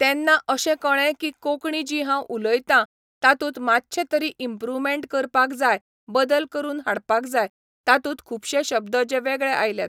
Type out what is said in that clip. तेन्ना अशेंं कळ्ळें की कोंकणी जी हांव उलोयतां तातूंत मात्शें तरी इंप्रुवमेंट करपाक जाय बदल करून हाडपाक जाय तातूंत खुबशे शब्द जे वेगळे आयलात.